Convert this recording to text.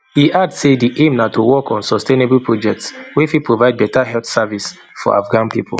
e add say di aim na to work on sustainable projects wey fit provide beta health services for afghan pipo